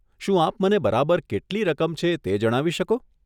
શું આપ મને બરાબર કેટલી રકમ છે તે જણાવી શકો?